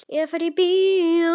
Eða fari í bíó.